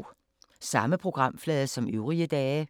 Samme programflade som øvrige dage